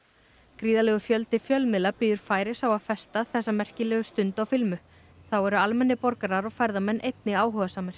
gríðarlegur fjöldi fjölmiðla bíður færis á að festa þessa merkilegu stund á filmu þá eru almennir borgarar og ferðamenn einnig áhugasamir